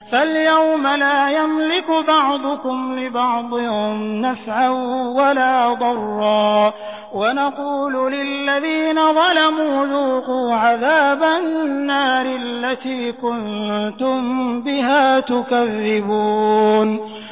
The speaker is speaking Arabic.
فَالْيَوْمَ لَا يَمْلِكُ بَعْضُكُمْ لِبَعْضٍ نَّفْعًا وَلَا ضَرًّا وَنَقُولُ لِلَّذِينَ ظَلَمُوا ذُوقُوا عَذَابَ النَّارِ الَّتِي كُنتُم بِهَا تُكَذِّبُونَ